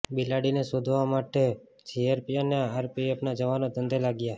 બિલાડીને શોધવા માટે જીઆરપી અને આરપીએફના જવાનો ધંધે લાગ્યા